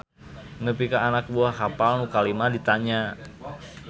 Nepi ka anak buah kapal nu kalima ditanya.